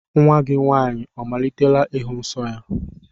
Nnwa gị nwaanyị ọ malitela ịhụ nsọ ya?